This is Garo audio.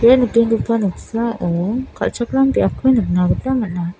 ia nikenggipa noksao kal·chakram biapko nikna gita man·a.